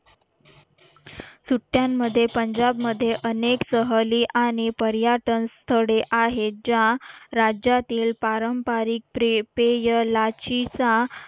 सुट्ट्यांमध्ये पंजाब मध्ये अनेक सहली आणि पर्यटन स्थळे आहेत ज्या राज्यातील पारंपारिक प्रे पेयलाची सा